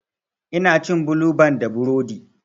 Ina cin bulu ban da burodi.